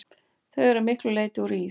Þau eru að miklu leyti úr ís.